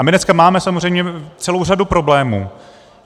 A my dneska máme samozřejmě celou řadu problémů.